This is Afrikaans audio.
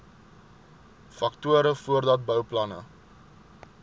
faktore voordat bouplanne